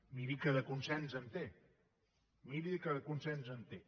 miri que de consens en té miri que de consens en té